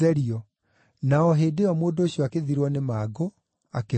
Na o hĩndĩ ĩyo mũndũ ũcio agĩthirwo nĩ mangũ, akĩhonio.